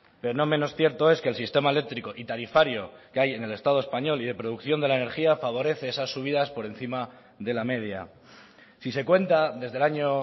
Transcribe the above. pero no menos cierto es que el sistema eléctrico y tarifario que hay en el estado español y de producción de la energía favorece esas subidas por encima de la media si se cuenta desde el año